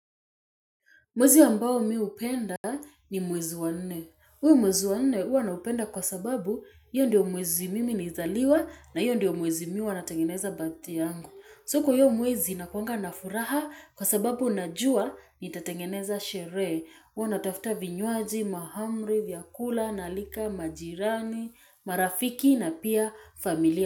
Mwezi ambao mimi hupenda, ni mwezi wa nne. Huu mwezi wa nne huwa naupenda, kwa sababu, hiyo ndio mwezi mimi nilizaliwa, na hiyo ndio mwezi mimi huwa natengeneza birthday yangu. So kwa hiyo mwezi nakuanga na furaha kwa sababu najua nitatengeneza sherehe, huwa natafuta vinywaji, mahamri, vyakula, naalika majirani, marafiki na pia familia.